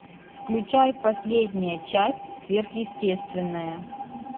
включай последняя часть сверхъестественное